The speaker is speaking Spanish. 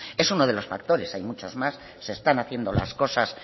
es uno de los factores hay muchos más se están haciendo las cosas